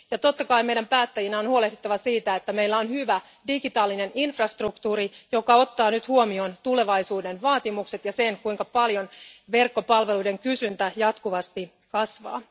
Totta kai meidän päättäjien on huolehdittava siitä, että meillä on hyvä digitaalinen infrastruktuuri, joka ottaa nyt huomioon tulevaisuuden vaatimukset ja sen, kuinka paljon verkkopalveluiden kysyntä jatkuvasti kasvaa.